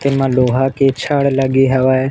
एमा लोहा के छड़ लगे हेवय।